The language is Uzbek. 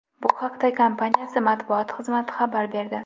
Bu haqda kompaniyasi matbuot xizmati xabar berdi .